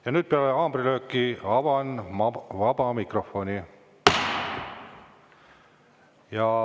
Ja nüüd peale haamrilööki avan vaba mikrofoni.